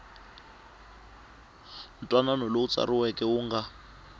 ntwanano lowu tsariweke wu nga